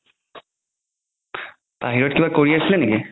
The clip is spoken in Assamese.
বাহিৰত কিবা কৰি আছিলে নেকি?